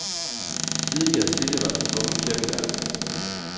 Tidlig og silde var der tvungen kirkegang.